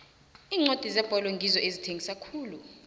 iincwadi zebholo ngizo ezithengisa khulu